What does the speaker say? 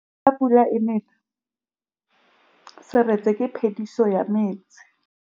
Fa pula e nelê serêtsê ke phêdisô ya metsi.